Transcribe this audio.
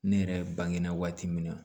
Ne yɛrɛ bange na waati min na